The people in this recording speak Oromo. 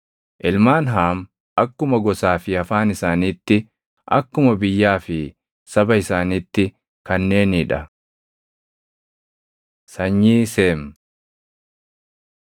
Ilmaan Haam akkuma gosaa fi afaan isaaniitti, akkuma biyyaa fi saba isaaniitti kanneenii dha. Sanyii Seem 10:21‑31 kwi – Uma 11:10‑27; 1Sn 1:17‑27